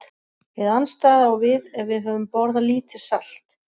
Hið andstæða á við ef við höfum borðað lítið salt.